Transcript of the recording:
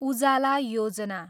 उजाला योजना